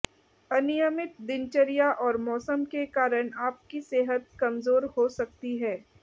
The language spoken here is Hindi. अनियमित दिनचर्या और मौसम के कारण आपकी सेहत कमजोर हो सकती है